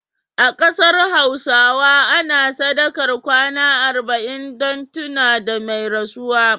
A kasar Hausawa ana sadakar kwana arba'in dun tuna da mai rasuwa